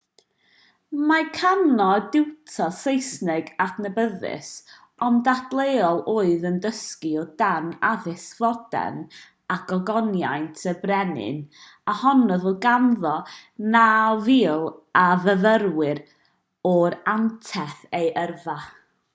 mae karno yn diwtor saesneg adnabyddus ond dadleuol oedd yn dysgu o dan addysg fodern a gogoniant y brenin a honnodd fod ganddo 9,000 o fyfyrwyr ar anterth ei yrfa